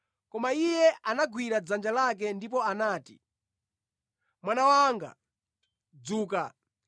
Koma Iye anamugwira dzanja lake ndipo anati, “Mwana wanga, dzuka!”